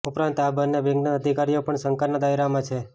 ઉપરાંત આ બંને બેંકના અધિકારીઓ પણ શંકાના દાયરામાં છે